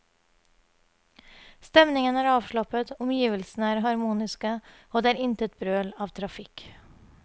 Stemningen er avslappet, omgivelsene er harmoniske og det er intet brøl av trafikk.